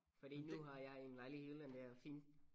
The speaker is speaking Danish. Fordi nu har jeg en lejlighed i Jylland der er fin